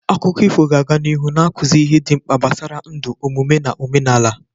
Akụkọ ifo ga-aga n'ihu na-akụzi ihe dị mkpa gbasara ndụ, omume na omenala.